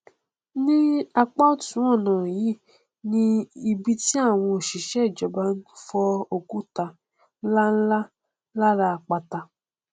ní apá ọtún ọnà nlá yìí ni ibi tí àwọn òṣìṣẹ ìjọba ti n fọ òkúta nlánlá lára apáta